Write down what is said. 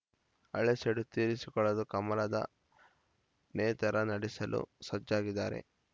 ಹಳೆ ಸೇಡು ತೀರಿಸಿಕೊಳ್ಳಲು ಕಮಲದ ನೇತಾರ ನಡೆಸಲು ಸಜ್ಜಾಗಿದ್ದಾರೆ